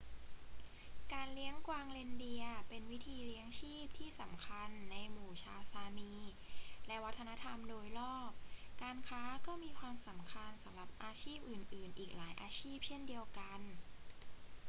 การเลี้ยงกวางเรนเดียร์เป็นวิธีเลี้ยงชีพที่สำคัญในหมู่ชาวซามีและวัฒนธรรมโดยรอบ การค้าก็มีความสำคัญสำหรับอาชีพอื่น ๆ อีกหลายอาชีพเช่นเดียวกัน